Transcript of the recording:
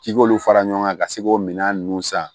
K'i k'olu fara ɲɔgɔn kan ka se k'o minɛn ninnu san